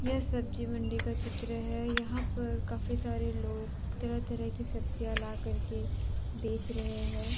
यह सब्जी मंडी का चित्र है यहां पर काफी सारे लोग तरह तरह की सब्जियां ला करके बेच रहे हैं।